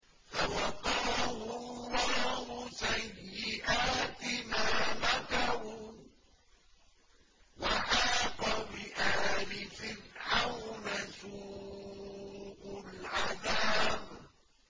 فَوَقَاهُ اللَّهُ سَيِّئَاتِ مَا مَكَرُوا ۖ وَحَاقَ بِآلِ فِرْعَوْنَ سُوءُ الْعَذَابِ